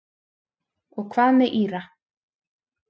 Og hvað með Íra?